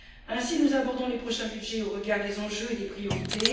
Ainsi, nous abordons les prochains budgets en tenant compte des enjeux et des priorités.